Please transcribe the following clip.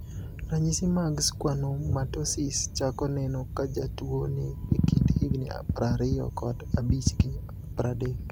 Ranyisi mag Schwannomatosis chako neno kajatuo ni ekind higni prariyo kod abich gi pradek.